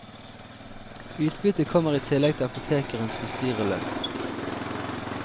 Utbyttet kommer i tillegg til apotekerens bestyrerlønn.